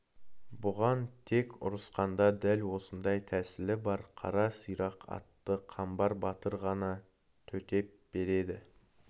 бұған тек ұрысқанда дәл осындай тәсілі бар қара сирақ атты қамбар батыр ғана төтеп береді